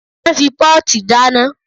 A ń fi pọ́ọ̀tì dáná.